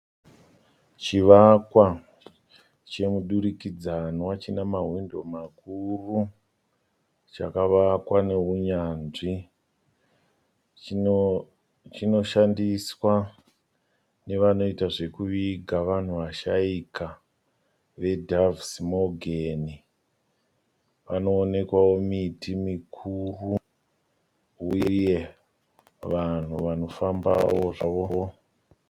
Chivakwa chemudurikidzanwa chine mahwindo makuru chakavakwa neunyanzvi. Chinoshandiswa nevanoita zvekuviga vanhu vashaika veDoves Morgan. Panowonekwawo miti mikuru uye vanhu vanofambawo zvavo.